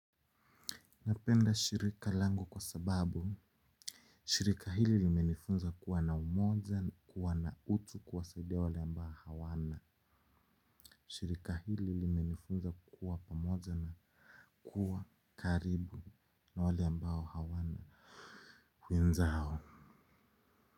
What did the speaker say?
Napenda shirika langu kwa sababu shirika hili limenifunza kuwa na umoja na kuwa na utu kuwasaidia wale ambao hawana shirika hili limenifunza kuwa pamoja na kuwa karibu na wale ambao hawana wenzao.